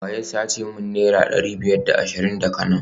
wa ya sace min naira dari biyar da ashirin daga nan?